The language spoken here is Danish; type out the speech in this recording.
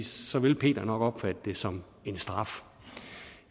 så vil peter nok opfatte det som en straf